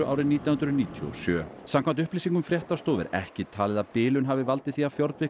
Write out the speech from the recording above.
árið nítján hundruð níutíu og sjö samkvæmt upplýsingum fréttastofu er ekki talið að bilun hafi valdið því að